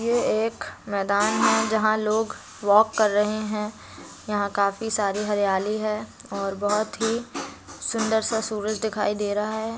ये एक मैदान है जहाँ लोग वाक कर रहे है। यहाँ काफी सारी हरियाली है और बोहोत ही सुन्दर सा सूरज दिखाई दे रहा हैं।